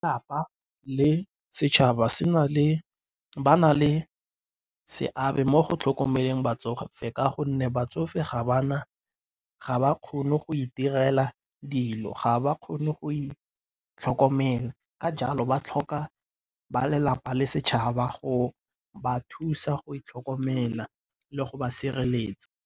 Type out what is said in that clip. Lelapa le setšhaba ba na le seabe mo go tlhokomeleng batsofe ka gonne batsofe ga bana, ga ba kgone go itirela dilo, ga ba kgone go itlhokomela. Ka jalo ba tlhoka ba lelapa le setšhaba go ba thusa go itlhokomela le go ba sireletsa.